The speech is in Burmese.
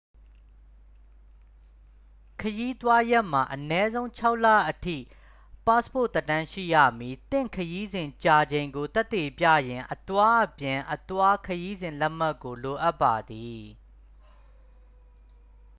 ခရီးသွားရက်မှ အနည်းဆုံး ၆ လအထိ ပတ်စ်ပို့သက်တမ်း ရှိရမည်။ သင့်ခရီးစဉ် ကြာချိန်ကို သက်သေပြရန် အသွားအပြန်/အသွား ခရီးစဉ်လက်မှတ်ကို လိုအပ်ပါသည်။